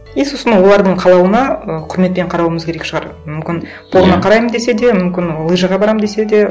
и сосын олардың қалауына ы құрметпен қарауымыз керек шығар мүмкін порно қараймын десе де мүмкін лыжиға барамын десе де